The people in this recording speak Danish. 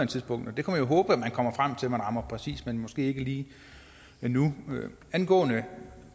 tidspunkt vi kan jo håbe at man kommer frem til at man rammer præcist men måske ikke lige nu angående